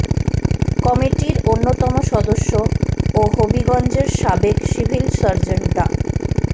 কমিটির অন্যতম সদস্য ও হবিগঞ্জের সাবেক সিভিল সার্জন ডা